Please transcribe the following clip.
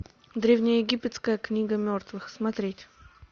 древнеегипетская книга мертвых смотреть